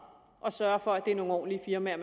og sørger for at det er nogle ordentlige firmaer